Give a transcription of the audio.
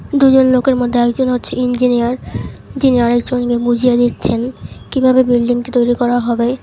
দুজন লোকের মধ্যে একজন হচ্ছে ইঞ্জিনিয়ার যিনি আরেকজনকে বুঝিয়ে দিচ্ছেন কিভাবে বিল্ডিংটি তৈরি করা হবে।